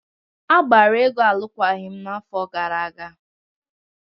Agbara Ego alụkwaghịm n'afọ gara aga.